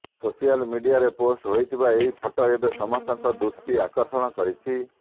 social ମିଡିଆରେ post ହୋଇଥିବା ଏହି ଫଟୋ ଏବେ ସମସ୍ତଙ୍କ ଦୃଷ୍ଟି ଆକର୍ଷଣ କରିଛି